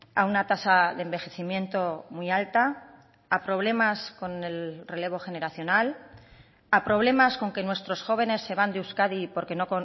a una tasa de envejecimiento muy alta a problemas con el relevo generacional a problemas con que nuestros jóvenes se van de euskadi porque no